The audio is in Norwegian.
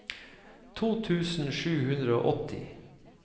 to tusen sju hundre og åtti